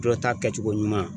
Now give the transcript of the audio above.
Dɔ ta kɛcogo ɲuman.